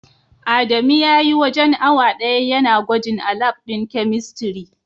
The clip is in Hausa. Adamu spent almost an hour testing at the chemistry lab.